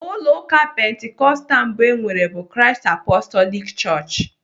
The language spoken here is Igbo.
Ụlọ ụka pentekostal mbụ enwere bụ Christ Apostolic chọọchị.